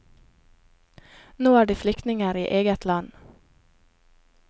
Nå er de er flyktninger i eget land.